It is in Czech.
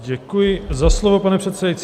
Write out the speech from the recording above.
Děkuji za slovo, pane předsedající.